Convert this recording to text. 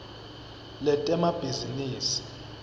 letemabhizinisi